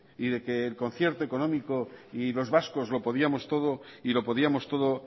y de que el concierto económico y los vascos lo podíamos todo y lo podíamos todo